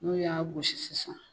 N'o y'a gosi sisan